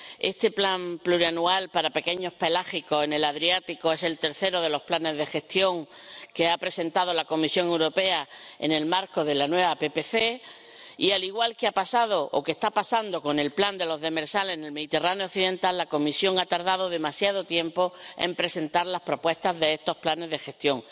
Este plan plurianual para pequeños pelágicos en el Adriático es el tercero de los planes de gestión que ha presentado la Comisión Europea en el marco de la nueva PPC y, al igual que ha pasado o que está pasando con el plan de los demersales en el Mediterráneo occidental, la Comisión ha tardado demasiado tiempo en presentar las propuestas de estos planes de gestión.